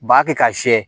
Ba kɛ ka siyɛ